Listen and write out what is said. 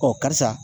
Ɔ karisa